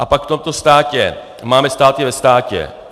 A pak v tomto státě máme státy ve státě.